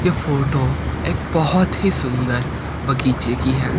ये फोटो एक बहोत ही सुंदर बगीचे की है।